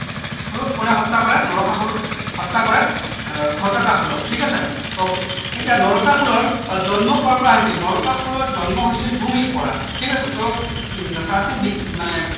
কোনে হত্যা কৰে নৰকাসুৰ হত্যা কৰে আহ ঘটকাসুৰক ঠিক আছে ok এতিয়া নৰকাসুৰৰ অ জন্ম কৰ পৰা হৈছিল নৰকাসুৰৰ জন্ম হৈছিল ভূমিৰ পৰা ঠিক আছে টো উম প্ৰাচীন মানে